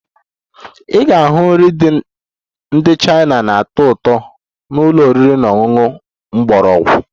Ị ga-ahụ nri ndị China na-atọ ụtọ na ụlọ oriri na ọṅụṅụ mgbọrọgwụ